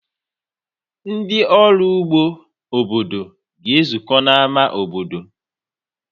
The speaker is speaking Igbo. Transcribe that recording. Ndị ọrụ ụgbọ obodo ga-ezukọ n'ámá obodo.